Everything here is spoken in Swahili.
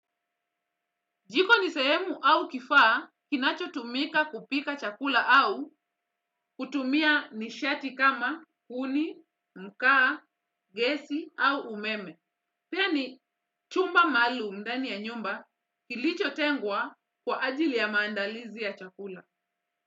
Jiko ni sehemu au kifaa, kinacho tumika kupika chakula au kutumia nishati kama kuni, mkaa, gesi au umeme. Pia ni chumba maalum ndani ya nyumba kilicho tengwa kwa ajili ya maandalizi ya chakula.